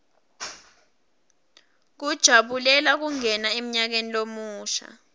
kujabulela kungena emnyakeni lomusha